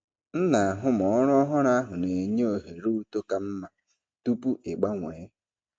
M na-atụle ma ọrụ ọhụrụ ahụ na-enye ohere uto ka mma tupu ịgbanwee.